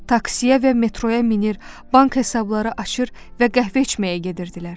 Taksiya və metroya minir, bank hesabları açır və qəhvə içməyə gedirdilər.